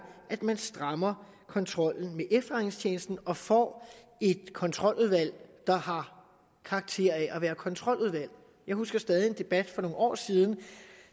at man strammer kontrollen med efterretningstjenesten og får et kontroludvalg der har karakter af at være kontroludvalg jeg husker stadig en debat for nogle år siden